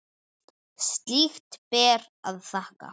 Slíkt ber að þakka.